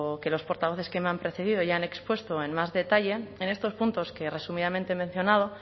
que los portavoces que me han precedido ya han expuesto en más detalle en estos puntos que resumidamente he mencionado